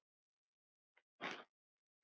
Stella, Daníel og Anton.